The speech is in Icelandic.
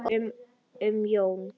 Og haltu honum Jón.